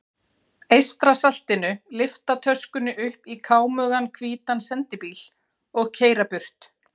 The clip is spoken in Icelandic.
Eystrasaltinu lyfta töskunni upp í kámugan hvítan sendibíl og keyra burt.